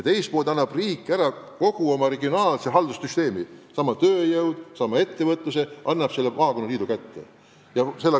Teiselt pool aga annab riik ära kogu oma regionaalse haldussüsteemi – sama tööjõud, sama ettevõtlus –, usaldades selle maakonnaliidu kätte, edaspidi otse valitavale volikogule.